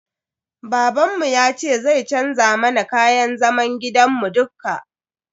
Babanmu yace zai canza mana kayan zaman gidan mu dukka.